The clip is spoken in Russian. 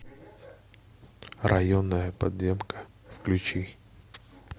районная подземка включи